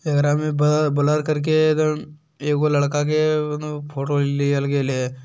एकरा मे भा ब्लर करके अ एगो लड़का के फोटो लियल गेल हैं।